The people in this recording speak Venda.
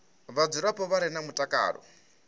vhadzulapo vha re na mutakalo